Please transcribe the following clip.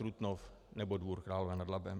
Trutnov nebo Dvůr Králové nad Labem.